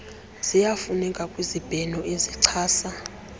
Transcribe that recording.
ziyafuneka kwizibheno ezichasa